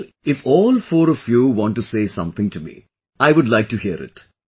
Well, if all four of you want to say something to me, I would like to hear it